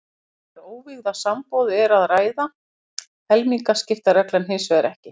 Þegar um óvígða sambúð er að ræða gildir helmingaskiptareglan hins vegar ekki.